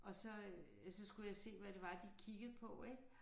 Og så øh så skulle jeg se hvad det var de kiggede på ik